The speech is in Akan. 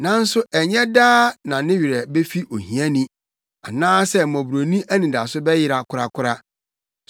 Nanso ɛnyɛ daa na ne werɛ befi ohiani, anaasɛ mmɔborɔni anidaso bɛyera korakora.